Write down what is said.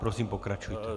Prosím, pokračujte.